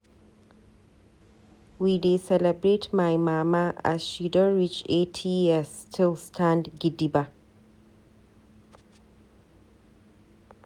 We dey celebrate my mama as she don reach 80 years still stand gidigba.